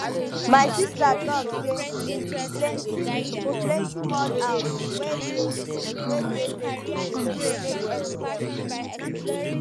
my sista talk sey di plenty plenty mud house wey dey wey dey benue dey make everywhere cool